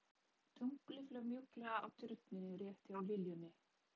Tunglið flaut mjúklega á Tjörninni rétt hjá liljunni.